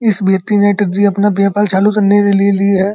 इस व्यक्ति ने टीररी अपना व्यापार चालू करने के लिए ली है।